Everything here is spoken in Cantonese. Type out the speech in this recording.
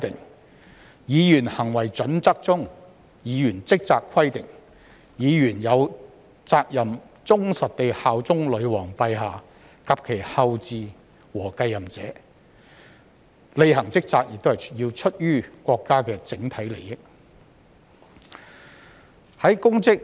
根據《國會議員操守準則》中"議員職責"的規定，議員有責任忠實地效忠女王陛下及其後嗣和繼任者、履行職責是出於國家的整體利益。